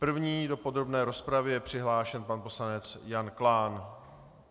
První do podrobné rozpravy je přihlášen pan poslanec Jan Klán.